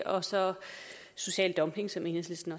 og så social dumping som enhedslisten